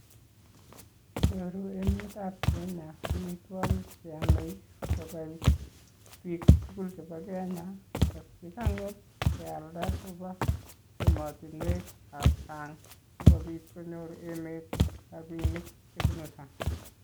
Nyoru emetab Kenya omitwogik cheyome kobai bik tugul chebo Kenya kealda koba emotinuekab sang' sikobit konyor emet rabinik chebunu sang'.